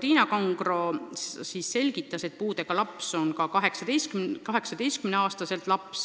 Tiina Kangro selgitas, et puudega laps on ka 18-aastaselt laps